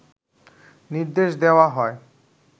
নির্দেশ দেওয়া হয়